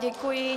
Děkuji.